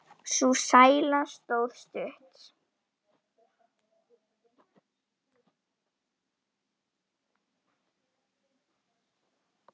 Sú sæla stóð stutt.